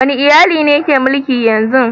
Wane iyali ne ke mulki yanzu?